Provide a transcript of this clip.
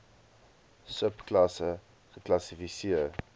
sub klasse geklassifiseer